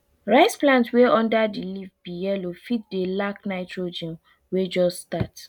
rice plant wey under di leaf be yellow fit dey lack nitrogen wey jus start